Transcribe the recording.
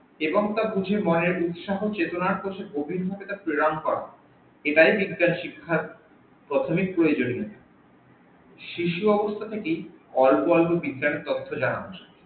এবং তার উৎসাহ চেতনার পথে প্রেরন করা এটাই বিজ্ঞান শিক্ষার প্রাথমিক প্রয়োজনীয়তা শিশু অবস্থা থেকেই অল্প অল্প বিজ্ঞান তথ্য জানা